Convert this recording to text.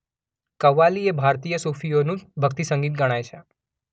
કવ્વાલી એ ભારતીય સૂફીઓનું ભક્તિસંગીત ગણાય છે.